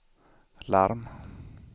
larm